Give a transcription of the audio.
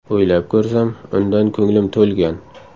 O‘ylab ko‘rsam, undan ko‘nglim to‘lgan.